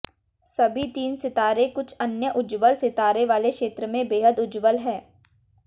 सभी तीन सितारे कुछ अन्य उज्ज्वल सितारों वाले क्षेत्र में बेहद उज्ज्वल हैं